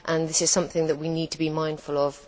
This is something that we need to be mindful of.